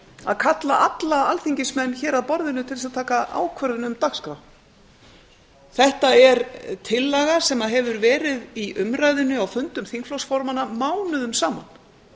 að kalla alla alþingismenn hér að borðinu til þess að taka ákvörðun um dagskrá þetta er tillaga sem hefur verið í umræðunni á fundum þingflokksformanna mánuðum saman